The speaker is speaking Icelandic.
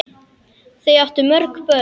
Þau áttu mörg börn.